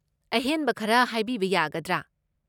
ꯑꯍꯦꯟꯕ ꯈꯔ ꯍꯥꯏꯕꯤꯕ ꯌꯥꯒꯗ꯭ꯔꯥ?